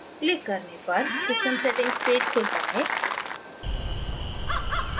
click करने पर system settings page खुलता है